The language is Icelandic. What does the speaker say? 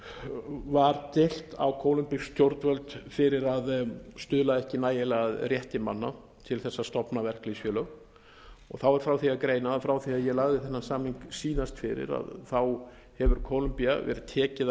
var deilt á kólumbísk stjórnvöld fyrir að stuðla ekki nægilega að rétti manna til þess að stofna verkalýðsfélög og þá er frá því að greina að frá því að ég lagði þennan samning síðast fyrir hefur kólumbía verið tekin